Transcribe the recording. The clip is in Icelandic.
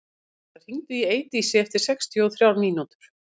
Alberta, hringdu í Eidísi eftir sextíu og þrjár mínútur.